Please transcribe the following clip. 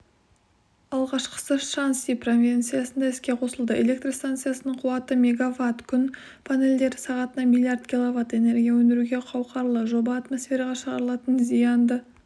алғашқысы шаньси провинциясында іске қосылды электр станциясының қуаты мегаватт күн панельдері сағатына миллиард киловатт энергия өндіруге қауқарлы жоба атмосфераға шығарылатын зиянды